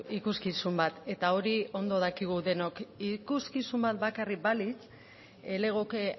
ikuskizun bat eta hori ondo dakigu denok ikuskizun bat bakarrik balitz ez legoke